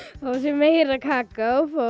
fá sér meira kakó